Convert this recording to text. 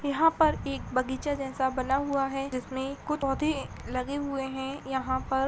यहां पर एक बगीचा जैसा बना हुआ है इसमें कुछ पौधे लगे हुए हैं यहां पर।